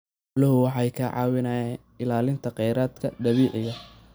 Xooluhu waxay ka caawiyaan ilaalinta kheyraadka dabiiciga ah.